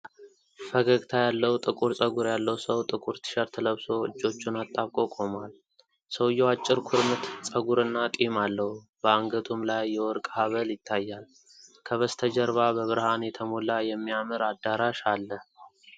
ፈገግታ ያለው ጥቁር ፀጉር ያለው ሰው ጥቁር ቲሸርት ለብሶ እጆቹን አጣብቆ ቆሟል። ሰውዬው አጭር ኩርምት ፀጉርና ጢም አለው፤ በአንገቱም ላይ የወርቅ ሐብል ይታያል። ከበስተጀርባ በብርሃን የተሞላ የሚያምር አዳራሽ አለ።